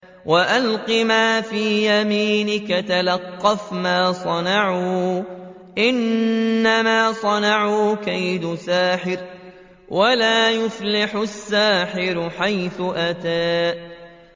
وَأَلْقِ مَا فِي يَمِينِكَ تَلْقَفْ مَا صَنَعُوا ۖ إِنَّمَا صَنَعُوا كَيْدُ سَاحِرٍ ۖ وَلَا يُفْلِحُ السَّاحِرُ حَيْثُ أَتَىٰ